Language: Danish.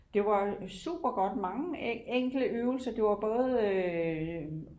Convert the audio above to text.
det var super godt mange enkle øvelser det var både